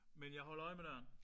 Men jeg holder øje med døren